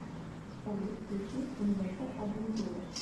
салют включи инвентор адвентуре